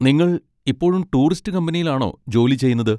നിങ്ങൾ ഇപ്പോഴും ടൂറിസ്റ്റ് കമ്പനിയിലാണോ ജോലി ചെയ്യുന്നത്?